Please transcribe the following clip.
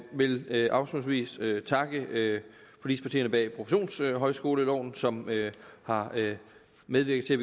vil vil afslutningsvis takke forligspartierne bag professionshøjskoleloven som har medvirket til at